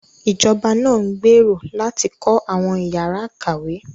Ìjọba náà ń gbèrò láti kọ́ àwọn ìyára ìkàwé